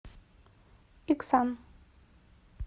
иксан